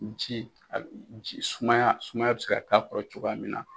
Ji sumaya sumaya bɛ se ka k'a kɔrɔ cogoya min na.